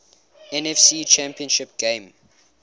nfc championship game